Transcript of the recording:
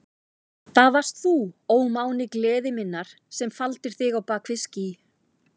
Það varst þú, ó máni gleði minnar, sem faldir þig á bak við ský.